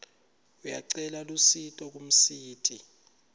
uyacela lusito kumsiti